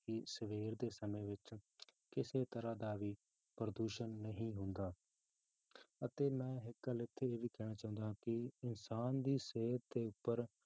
ਕਿ ਸਵੇਰ ਦੇ ਸਮੇਂ ਵਿੱਚ ਕਿਸੇ ਤਰ੍ਹਾਂ ਦਾ ਵੀ ਪ੍ਰਦੂਸ਼ਣ ਨਹੀਂ ਹੁੰਦਾ ਅਤੇ ਮੈਂ ਇੱਕ ਗੱਲ ਇੱਥੇ ਇਹ ਵੀ ਕਹਿਣਾ ਚਾਹੁੰਦਾ ਹਾਂ ਕਿ ਇਨਸਾਨ ਦੀ ਸਿਹਤ ਦੇ ਉੱਪਰ